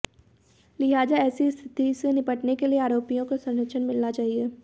लिहाजा ऐसी स्थिति से निपटने के लिए आरोपियों को संरक्षण मिलना चाहिए